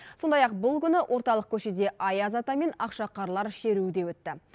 сондай ақ бұл күні орталық көшеде аяз ата мен ақшақарлар шеруі де өтті